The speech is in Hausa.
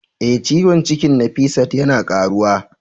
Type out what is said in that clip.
Eh, ciwon cikin Nafisat yana karuwa.